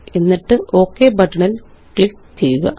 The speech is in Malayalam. എന്നിട്ട്Ok ബട്ടണില് ക്ലിക്ക് ചെയ്യുക